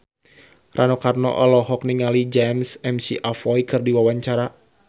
Rano Karno olohok ningali James McAvoy keur diwawancara